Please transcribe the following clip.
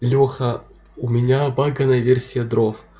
лёха у меня баганная версия дров